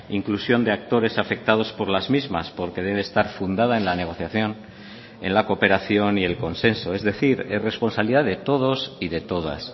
inclusión de actores afectados por las mismas porque debe estar fundada en la negociación en la cooperación y el consenso es decir es responsabilidad de todos y de todas